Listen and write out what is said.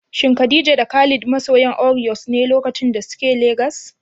Shin Khalid da Khadija masoyan Oreos ne lokacin da suke Legas?